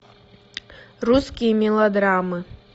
русские мелодрамы